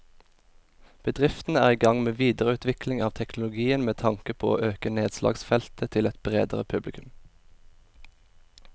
Bedriften er i gang med videreutvikling av teknologien med tanke på å øke nedslagsfeltet til et bredere publikum.